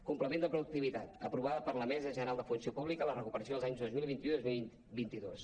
complement de productivitat aprovada per la mesa general de la funció pública la recuperació els anys dos mil vint u i dos mil vint dos